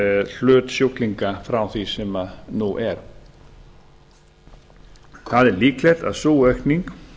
hlut sjúklinga frá því sem nú er það er líklegt að sú aukning